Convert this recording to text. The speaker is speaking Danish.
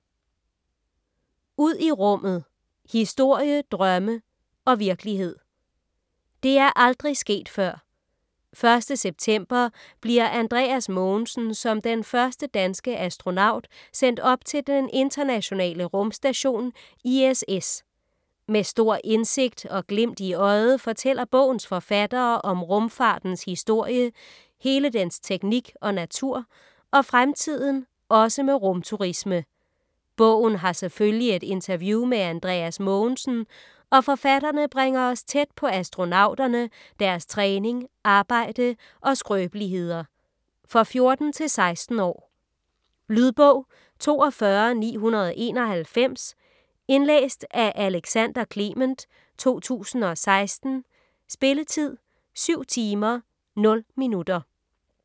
Ud i rummet: historie, drømme og virkelighed Det er aldrig sket før: 1. september bliver Andreas Mogensen som den første danske astronaut sendt op til den internationale rumstation ISS. Med stor indsigt og glimt i øjet fortæller bogens forfattere om rumfartens historie, hele dens teknik og natur - og fremtiden, også med rum-turisme. Bogen har selvfølgelig et interview med Andreas Mogensen - og forfatterne bringer os tæt på astronauterne, deres træning, arbejde og skrøbeligheder. For 14-16 år. Lydbog 42991 Indlæst af Alexander Clement, 2016. Spilletid: 7 timer, 0 minutter.